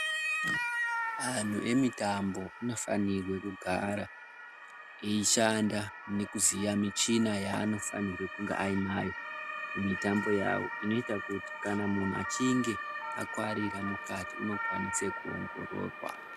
Antu emitombo anofanirwa kugara eishanda nekuziya michina yaanofanirwe kunge ainayo kumitambo yavo. Inoita kuti kana muntu achinge akuvarira mukati unokwanise kuongororwa.